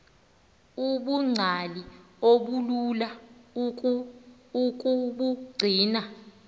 ubungcali obulula ukubugcina